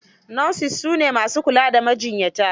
Nurses su ne ma su jkula da majiyyata.